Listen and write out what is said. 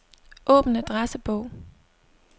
Åbn adressebog.